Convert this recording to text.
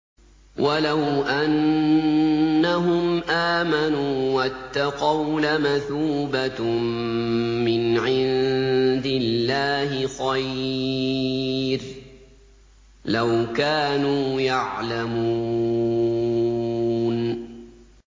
وَلَوْ أَنَّهُمْ آمَنُوا وَاتَّقَوْا لَمَثُوبَةٌ مِّنْ عِندِ اللَّهِ خَيْرٌ ۖ لَّوْ كَانُوا يَعْلَمُونَ